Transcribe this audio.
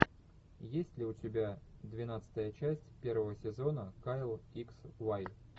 есть ли у тебя двенадцатая часть первого сезона кайл икс вай